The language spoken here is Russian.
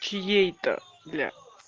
чьей-то блять